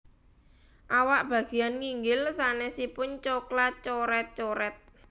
Awak bageyan nginggil sanésipun coklat coret coret